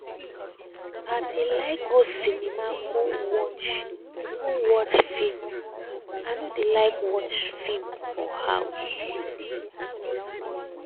i dey like go cinema go watch go watch film i no dey like watch for house.